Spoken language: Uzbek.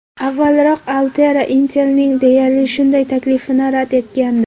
Avvalroq Altera Intel’ning deyarli shunday taklifini rad etgandi.